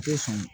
U tɛ sɔn